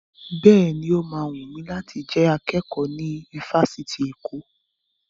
Bẹ́ẹ̀ni, ó ma wùn mi láti jẹ akẹ́kọ̀ọ́ ní ifásitì Èkó